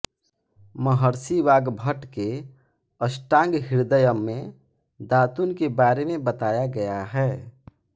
महर्षि वाग्भट के अष्टांगहृदयम में दातून के बारे में बताया गया है